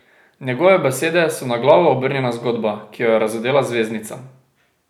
Njegove besede so na glavo obrnjena zgodba, ki jo je razodela zvezdnica.